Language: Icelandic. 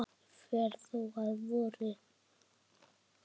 fer þó að vori.